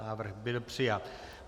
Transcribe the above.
Návrh byl přijat.